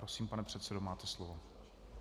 Prosím, pane předsedo, máte slovo.